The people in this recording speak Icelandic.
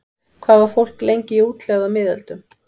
Hvað var fólk lengi í útlegð á miðöldum?